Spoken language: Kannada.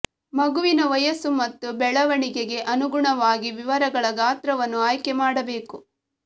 ಮಗುವಿನ ವಯಸ್ಸು ಮತ್ತು ಬೆಳವಣಿಗೆಗೆ ಅನುಗುಣವಾಗಿ ವಿವರಗಳ ಗಾತ್ರವನ್ನು ಆಯ್ಕೆ ಮಾಡಬೇಕು